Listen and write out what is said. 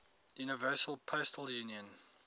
universal postal union